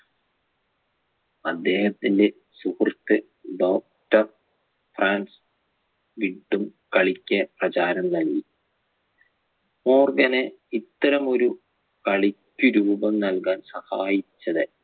അദ്ദേഹത്തിന്റെ സുഹൃത്ത്‌ doctor Frans വീണ്ടും കളിക്ക് പ്രചാരം നൽകി മോർഗന് ഇത്തരമൊരു കളിക്ക് രൂപം നൽകാൻ സാഹായിച്ചത്